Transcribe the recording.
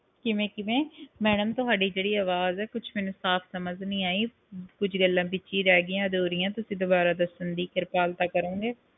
ਕਿਵੇਂ ਕਿਵੇਂ ਮੈਡਮ ਤੁਹਾਡੀ ਜਿਹੜੀ ਅਵਾਜ ਹੈ ਕੁਛ ਮੈਨੂੰ ਸਾਫ ਸਮਾਜ ਨਹੀਂ ਆਈ ਕੁਛ ਗੱਲਾਂ ਵਿਚੇ ਰਹਿ ਗਈਆਂ ਅਧੂਰੀਆਂ ਤੁਸੀਂ ਦੁਬਾਰਾ ਦੱਸਣ ਦੀ ਕਿਰਪਾਲਤਾ ਕਰੋਂਗੇ